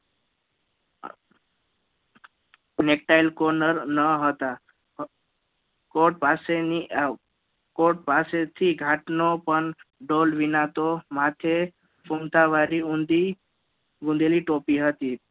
Netail courner ના હતા Court પાસેની Court પાસેથી ઘાટનો પણ ડોલ વિના તો માથે કુંતાવારી ઊંધી બુંદેલી ટોપી હતી તેમ